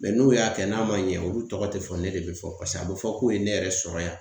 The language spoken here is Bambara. n'u y'a kɛ n'a ma ɲɛ, olu tɔgɔ te fɔ ne de be fɔ. Paseke a be fɔ k'u ye ne yɛrɛ sɔrɔ yan.